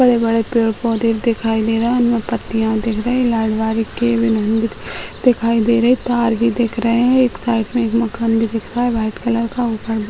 बड़े-बड़े पेड़-पौधे दिखाई दे रहा है उनमें पत्तियां दिख रही है लाल दिखाई दे रहे है तार भी दिख रहे हैं | एक साइड मे एक मकान भी दिख रहा है वाइट कलर का। ऊपर --